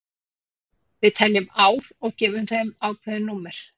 við teljum ár og gefum þeim ákveðin númer